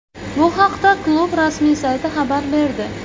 Bu haqda klub rasmiy sayti xabar berdi.